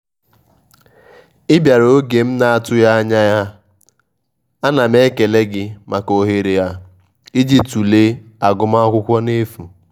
anaghi m atụ anya gi mana ego ịjì kwado agum akwụkwo bụ ihe e kwesịrị ige nti mgberede.